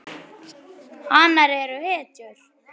Hanar eru hetjur.